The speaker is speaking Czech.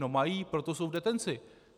No mají, proto jsou v detenci!